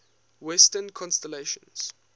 western constellations